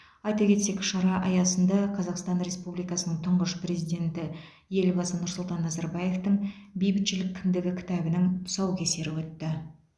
айта кетсек шара аясында қазақстан республикасының тұңғыш президенті елбасы нұрсұлтан назарбаевтың бейбітшілік кіндігі кітабының тұсаукесері өтті